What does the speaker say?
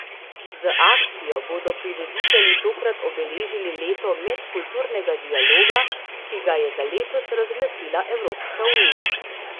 Z akcijo bodo prireditelji tokrat obeležili leto medkulturnega dialoga, ki ga je za letos razglasila Evropska unija.